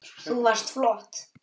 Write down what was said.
Þú varst flott